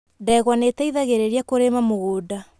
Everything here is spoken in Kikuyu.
Ndegwa nĩ ĩteithagĩrĩria kũrĩma mũgũnda.